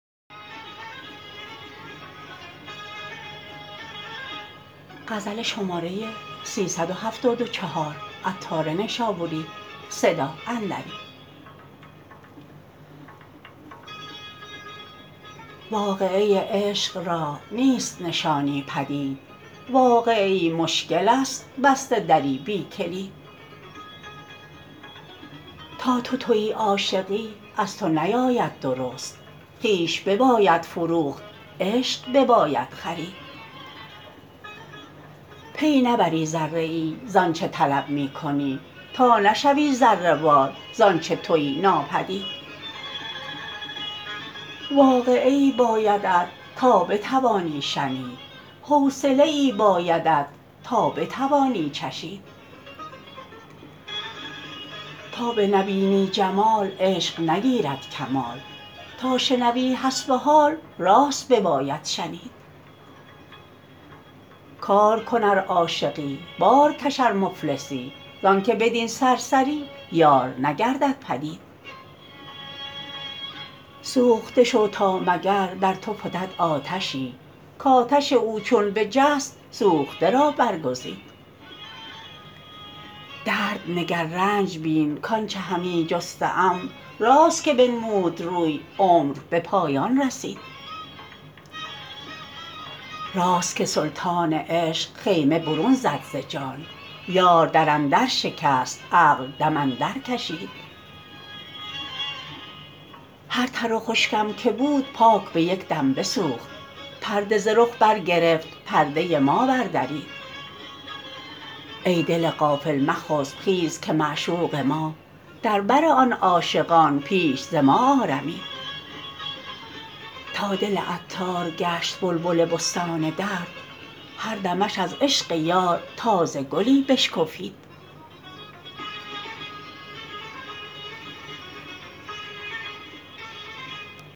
واقعه عشق را نیست نشانی پدید واقعه ای مشکل است بسته دری بی کلید تا تو تویی عاشقی از تو نیاید درست خویش بباید فروخت عشق بباید خرید پی نبری ذره ای زانچه طلب می کنی تا نشوی ذره وار زانچه تویی ناپدید واقعه ای بایدت تا بتوانی شنید حوصله ای بایدت تا بتوانی چشید تا بنبینی جمال عشق نگیرد کمال تا شنوی حسب حال راست بباید شنید کار کن ار عاشقی بار کش ار مفلسی زانکه بدین سرسری یار نگردد پدید سوخته شو تا مگر در تو فتد آتشی کاتش او چون بجست سوخته را بر گزید درد نگر رنج بین کانچه همی جسته ام راست که بنمود روی عمر به پایان رسید راست که سلطان عشق خیمه برون زد ز جان یار در اندر شکست عقل دم اندر کشید هر تر و خشکم که بود پاک به یکدم بسوخت پرده ز رخ برگرفت پرده ما بر درید ای دل غافل مخسب خیز که معشوق ما در بر آن عاشقان پیش ز ما آرمید تا دل عطار گشت بلبل بستان درد هر دمش از عشق یار تازه گلی بشکفید